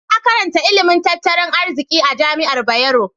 Na karanta ilimin tattalin arziki a jami'ar Bayero.